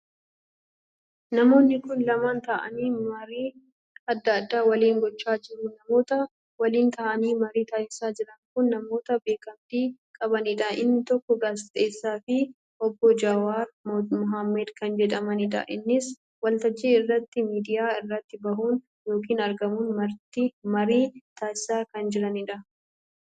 Namoonni kun lamaan taa'aanii marii addaa addaa waliin gochaa jiru. namoota waliin taa'aanii marii taasisaa jiran kun namoota beekamtii qabaniidha. inni tokkoo gaazexeessaa fi Obbo Jawaar Mohammad kan jedhamiidha. isaanis waltajjii irratti miidiyaa irratti bahuun ykn argamuun marii taasisaa kan jiraniidha